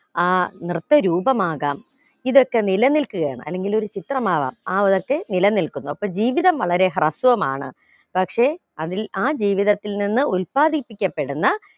ആ നൃത്ത രൂപമാകാം ഇതൊക്കെ നില നിൽക്കുവാണ് അല്ലെങ്കിൽ ഒരു ചിത്രമാവാം ആ വിലക്ക് നിലനിൽക്കുന്നു അപ്പം ജീവിതം വളരെ ഹ്രസ്വമാണ് പക്ഷെ അതിൽ ആ ജീവിതത്തിൽ നിന്ന് ഉല്പാദിപ്പിക്കപ്പെടുന്ന